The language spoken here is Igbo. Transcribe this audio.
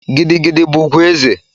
Gidi gidi bu ugwu eze